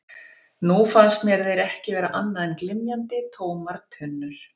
Nú fannst mér þeir ekki vera annað en glymjandi, tómar tunnur.